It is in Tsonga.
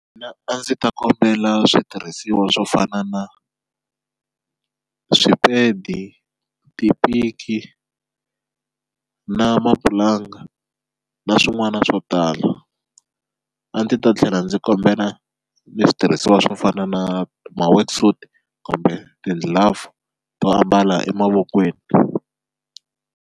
Mina a ndzi ta kombela switirhisiwa swo fana na swipedi, tipiki na mapulanga na swin'wana na swo tala, a ndzi ta tlhela ndzi kombela ni switirhisiwa swo fana na ma worksuit kumbe ti-glove to ambala emavokweni.